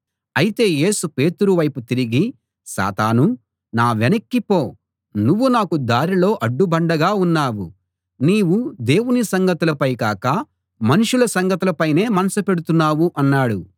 అయితే యేసు పేతురు వైపు తిరిగి సాతానూ నా వెనక్కి పో నువ్వు నాకు దారిలో అడ్డుబండగా ఉన్నావు నీవు దేవుని సంగతులపై కాక మనుషుల సంగతుల పైనే మనసు పెడుతున్నావు అన్నాడు